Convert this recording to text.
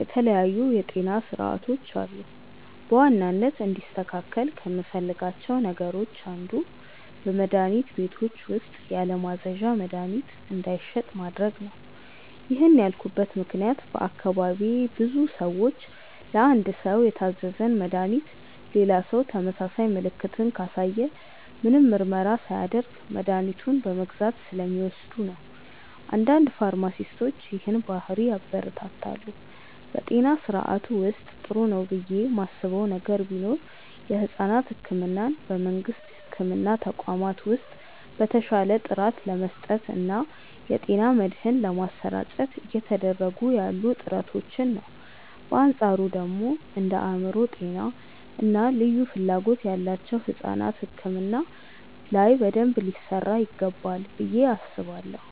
የተለያዩ የጤና ስርዓቶች አሉ። በዋናነት እንዲስተካከል ከምፈልጋቸው ነገሮች አንዱ በመድሀኒት ቤቶች ውስጥ ያለማዘዣ መድሀኒት እንዳይሸጥ ማድረግ ነው። ይህን ያልኩበት ምክንያት በአካባቢዬ ብዙ ሰዎች ለአንድ ሰው የታዘዘን መድሃኒት ሌላ ሰው ተመሳሳይ ምልክትን ካሳየ ምንም ምርመራ ሳያደርግ መድኃኒቱን በመግዛት ስለሚወስዱ ነው። አንዳንድ ፋርማሲስቶች ይህንን ባህሪ ያበረታታሉ። በጤና ስርዓቱ ውስጥ ጥሩ ነው ብዬ ማስበው ነገር ቢኖር የሕፃናት ሕክምናን በመንግስት የሕክምና ተቋማት ውስጥ በተሻለ ጥራት ለመስጠት እና የጤና መድህን ለማሰራጨት እየተደረጉ ያሉ ጥረቶችን ነው። በአንፃሩ ደግሞ እንደ የአእምሮ ጤና እና ልዩ ፍላጎት ያላቸው ሕፃናት ሕክምና ላይ በደንብ ሊሰራ ይገባል ብዬ አስባለሁ።